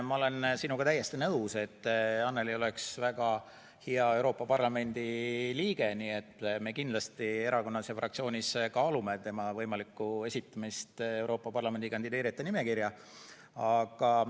Ma olen sinuga täiesti nõus, et Annely oleks väga hea Euroopa Parlamendi liige, nii et me kindlasti erakonnas ja fraktsioonis kaalume tema Euroopa Parlamenti kandideerijate nimekirja esitamist.